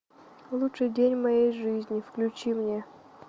лучший день в моей жизни включи мне